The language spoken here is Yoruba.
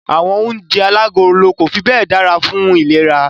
Àwọn oúnjẹ alágolo kò fi bẹ́ẹ̀ dára fún ìlera.